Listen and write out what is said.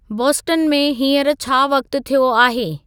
Boston में हींअर छा वक़्त थियो आहे